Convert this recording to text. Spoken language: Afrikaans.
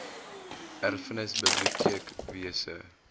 erfenis biblioteek wese